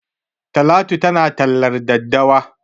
Talatu tana tallar daddawa.